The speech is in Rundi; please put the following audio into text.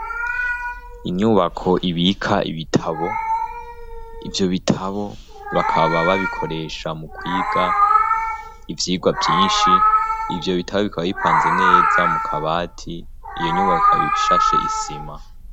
Inyubako ibika ibitabo. Ivyo bitabo bakaba babikoresha mu kwiga ivyigwa vyinshi. Ivyo bitabo bikaba bipanze neza mu kabati. Iyo nyubaka ikaba ibishashe isima.